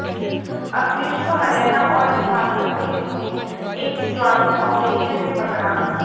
अखिलेश को हरियाणा और झारखंड पुलिस ने एक ज्वाइंट आपरेशन में पकड़ा